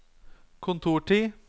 kontortid